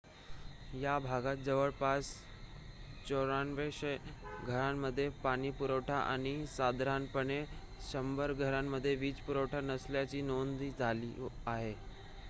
या भागात जवळपास 9400 घरांमध्ये पाणीपुरवठा आणि साधारणपणे 100 घरांमध्ये वीज पुरवठा नसल्याची नोंद झाली आहे